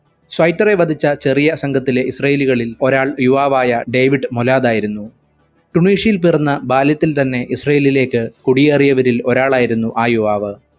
സ്വൈറ്ററെ വധിച്ച ചെറിയ സംഘത്തിലെ israeli കളിൽ ഒരാൾ യുവാവായ ഡേവിഡ് മൊലാധായിരുന്നു ടുണീഷ്യയിൽ പിറന്ന ബാല്യത്തിൽ തന്നെ ഇസ്രായേലിലേക്ക് കുടിയെറിയവരിൽ ഒരാളായിരുന്നു ആ യുവാവ്.